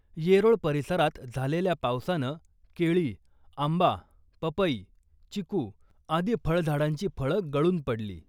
येरोळ परिसरात झालेल्या पावसानं केळी , आंबा , पपई , चिकू आदी फळझाडांची फळं गळून पडली .